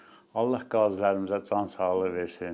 Allah qazilərimizə can sağlığı versin.